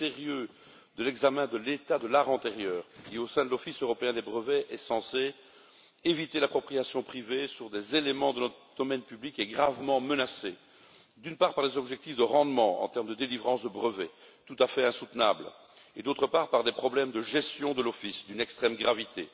Le sérieux de l'examen de l'état de l'art antérieur qui, au sein de l'Office européen des brevets, est censé éviter l'appropriation privée sur des éléments de notre domaine public, est gravement menacé, d'une part, par les objectifs de rendement en termes de délivrance de brevets, tout à fait insoutenables, et, d'autre part, par des problèmes de gestion de l'Office d'une extrême gravité.